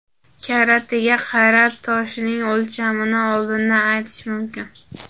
Karatiga qarab toshning o‘lchamini oldindan aytish mumkin.